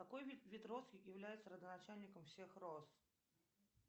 какой вид роз является родоначальником всех роз